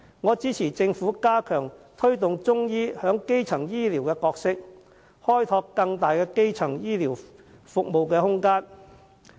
我支持政府加強推動中醫在基層醫療的角色，開拓更大的空間。